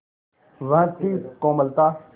वह थी कोमलता